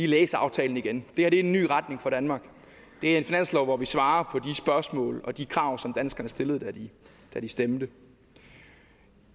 læse aftalen igen det her er en ny retning for danmark det er en finanslov hvor vi svarer på spørgsmål og de krav som danskerne stillede da de stemte